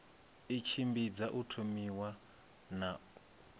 i tshimbidza u thomiwa na